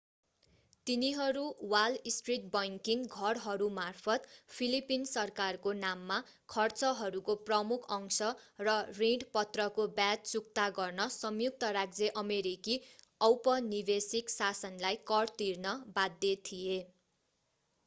तिनीहरू Wall Street banking घरहरूमार्फत Philippines सरकारको नाममा खर्चहरूको प्रमुख अंश र ऋणपत्रको व्याज चुक्ता गर्न संयुक्त राज्य अमेरिकी औपनिवेशिक शासनलाई कर तिर्न बाध्य थिए